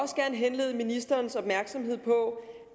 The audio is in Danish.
gerne henlede ministerens opmærksomhed på